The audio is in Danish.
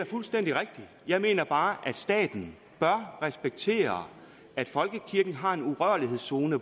fuldstændig rigtigt jeg mener bare at staten bør respektere at folkekirken har en urørlighedszone